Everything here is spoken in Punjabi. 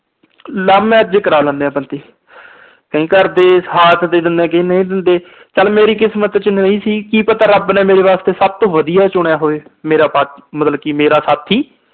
love marriage ਕਰਾ ਲੈਂਦੇ ਆ ਬੰਦੇ। ਕਈ ਘਰ ਦੇ ਸਾਥ ਦੇ ਦਿੰਦੇ ਆ, ਕਈ ਨਹੀਂ ਦਿੰਦੇ। ਚਲ ਮੇਰੀ ਕਿਸਮਤ ਚ ਨਹੀਂ ਸੀ ਕਿ ਪਤਾ ਰੱਬ ਨੇ ਮੇਰੇ ਵਾਸਤੇ ਸਭ ਤੋਂ ਵਧੀਆ ਈ ਚੁਣਿਆ ਹੋਵੇ। ਮੇਰਾ part ਅਹ ਮਤਲਬ ਕਿ ਮੇਰਾ ਸਾਥੀ।